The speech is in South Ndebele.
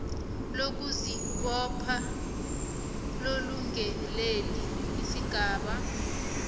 lokuzibopha lomlungeleli isigaba